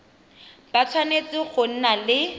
ba tshwanetse go nna le